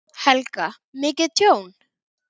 Helga: Mikið tjón?